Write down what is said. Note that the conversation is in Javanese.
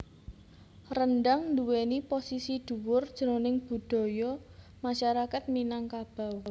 Rendhang nduwèni posisi dhuwur jroning budaya masyarakat Minangkabau